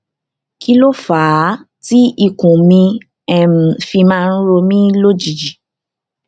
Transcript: kí ló fà á tí ikùn mi um fi máa ń ro mí lójijì